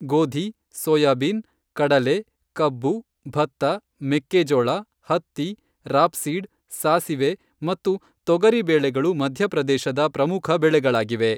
ಗೋಧಿ, ಸೋಯಾಬೀನ್, ಕಡಲೆ, ಕಬ್ಬು, ಭತ್ತ, ಮೆಕ್ಕೆ ಜೋಳ, ಹತ್ತಿ, ರಾಪ್ಸೀಡ್, ಸಾಸಿವೆ, ಮತ್ತು ತೊಗರಿ ಬೇಳೆಗಳು ಮಧ್ಯಪ್ರದೇಶದ ಪ್ರಮುಖ ಬೆಳೆಗಳಾಗಿವೆ.